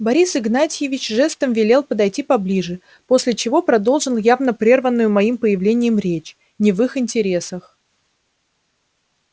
борис игнатьевич жестом велел подойти поближе после чего продолжил явно прерванную моим появлением речь не в их интересах